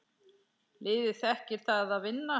Liðið þekkir það að vinna.